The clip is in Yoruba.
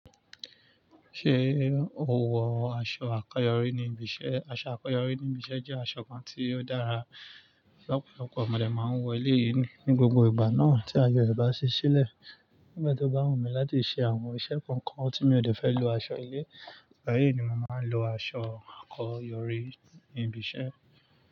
Ṣé o wọ aṣọ àkọ́rọ́yọ̀rí níbi iṣẹ́? Aṣọ àkọ́rọ́yọ̀rí níbi iṣẹ́ jẹ́ aṣọ kan tí ó dára. Lọpọ̀lọpọ̀ mo dẹ̀ máa ń wọ eléyìí ní gbogbo ìgbà náà tí aye rẹ̀ bá ṣí sílẹ̀. Nígbà tó bá wù mí láti ṣe àwọn iṣẹ́ kọ̀ọ̀kan tí mi ò de fẹ́ lo aṣọ ilé, báyìí ni màá ń lo aṣọ àkọ́rọ̀yọ̀rí níbi iṣẹ́.